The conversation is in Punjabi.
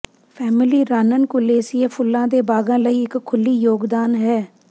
ਫੈਮਲੀ ਰਾਨਨਕੁਲੇਸੀਏ ਫੁੱਲਾਂ ਦੇ ਬਾਗਾਂ ਲਈ ਇਕ ਖੁੱਲ੍ਹੀ ਯੋਗਦਾਨ ਹੈ